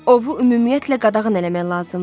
Ovu ümumiyyətlə qadağan eləmək lazımdır.